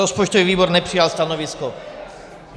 Rozpočtový výbor nepřijal stanovisko.